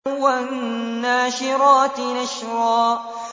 وَالنَّاشِرَاتِ نَشْرًا